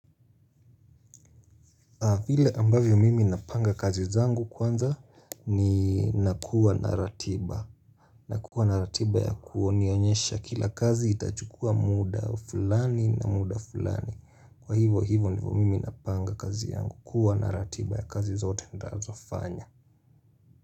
Vile ambavyo mimi napanga kazi zangu kwanza ni nakuwa na ratiba. Nakuwa na ratiba ya kunionyesha kila kazi itachukua muda fulani na muda fulani. Kwa hivyo hivyo ndio mimi napanga kazi yangu. Kuwa na ratiba ya kazi zote nitakazofanya.